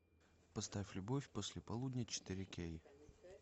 поставь любовь после полудня четыре кей